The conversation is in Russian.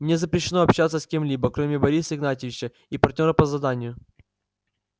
мне запрещено общаться с кем-либо кроме бориса игнатьевича и партнёра по заданию